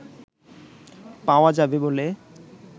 পাওয়া যাবে বলে